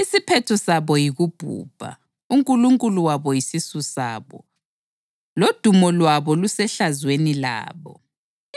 Isiphetho sabo yikubhubha, unkulunkulu wabo yisisu sabo, lodumo lwabo lusehlazweni labo.